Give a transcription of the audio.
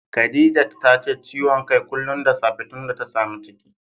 Khadijat tace ciwon kai kullum da safe tunda ta samu ciki